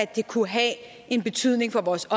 det kunne have betydning for vores